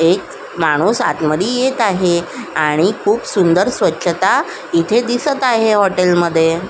एक माणूस आतमध्ये येत आहे आणि खूप सुंदर स्वच्छता इथे दिसत आहे हॉटेल मध्ये.